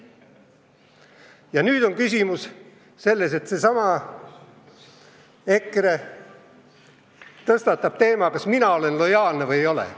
Ja nüüd seesama EKRE tõstatab teema, kas mina olen lojaalne või ei ole.